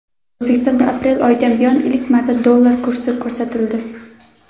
O‘zbekistonda aprel oyidan buyon ilk marta dollar kursi ko‘tarildi.